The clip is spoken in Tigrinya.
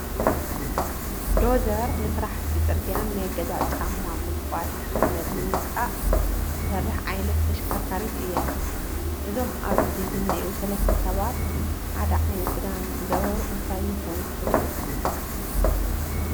ዶዘር ንስራሕቲ ፅርግያን ናይ ገዛ ጫማ ጉድጓድ ሓመድ ንምውፃእ እትሰርሕ ዓይነት ተሽከርካሪት እያ፡፡ እዞም ኣብ ዝኒሄው ሰለስተ ሰባት ሓደ ዓይነት ክዳን ዝገበሩ እንታይ ይኾኑ ትብሉ?